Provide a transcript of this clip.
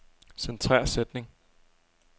Centrer sætning.